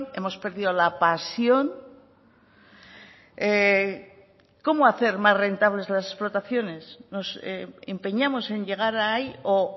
hemos perdido la pasión cómo hacer más rentables las explotaciones nos empeñamos en llegar ahí o